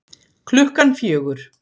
Klukkan fjögur